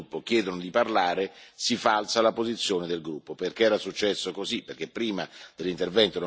del presidente di quel gruppo, dello stesso gruppo, chiedono di parlare, si falsa la posizione del gruppo.